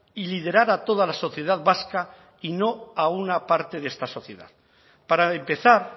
y liderar a toda la sociedad vasca y no a una parte de esta sociedad para empezar